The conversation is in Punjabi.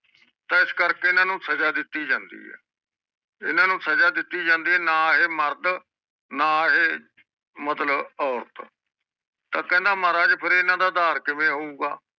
ਤਾ ਇਸ ਕਰਕੇ ਇਹਨਾਂ ਨੂੰ ਸਜਾ ਦਿਤੀ ਜਾਂਦੀ ਹੈ ਇਹਨਾਂ ਨੂੰ ਸਜਾ ਦਿੱਤੀ ਜਾਂਦੀ ਹੈ ਨਾ ਇਹ ਮਰਦ ਨਾ ਇਹ ਮਤਲਬ ਔਰਤ ਤਾਂ ਕਹਿੰਦਾ ਮਹਾਰਾਜ ਇਹਨਾਂ ਦਾ ਆਧਾਰ ਕਿਵੇਂ ਹੋਊਗਾ